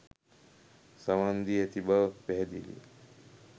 සවන් දී ඇති බව පැහැදිලිය.